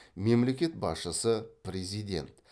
мемлекет басшысы президент